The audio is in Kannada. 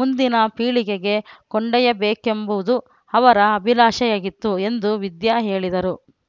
ಮುಂದಿನ ಪೀಳಿಗೆಗೆ ಕೊಂಡೊಯ್ಯಬೇಕೆಂಬುದು ಅವರ ಅಭಿಲಾಷೆಯಾಗಿತ್ತು ಎಂದು ವಿದ್ಯಾ ಹೇಳಿದರು